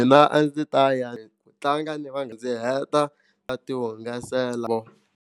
Mina a ndzi ta ya ku tlanga ndzi va ndzi heta tihungasela.